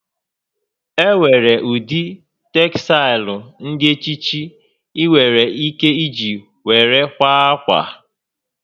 Enwere ụdị tegsaịlụ dị iche iche ị nwèrè ike Iji were kwaa ákwà